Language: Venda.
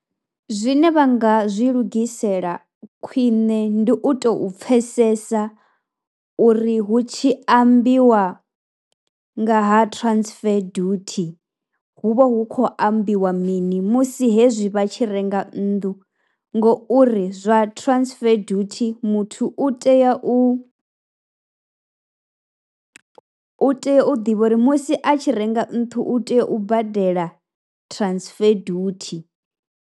Zwine vha nga zwi lugisela khwine ndi u tou pfhesesa uri hu tshi ambiwa nga ha transfer duty hu vha hu khou ambiwa mini musi hezwi vha tshi renga nnḓu ngouri zwa transfer duty muthu u tea u tea u ḓivha uri musi a tshi renga nnḓu u tea u badela transfer duty.